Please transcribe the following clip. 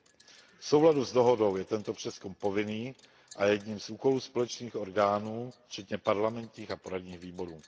5. V souladu s dohodou je tento přezkum povinný a je jedním z úkolů společných orgánů, včetně parlamentních a poradních výborů.